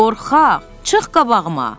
Qorxaq, çıx qabağıma!